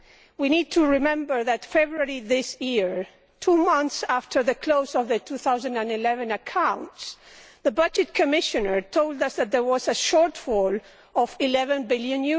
We need to remember that in February this year, two months after the close of the 2011 accounts, the Budget Commissioner told us that there was a shortfall of EUR 11 billion.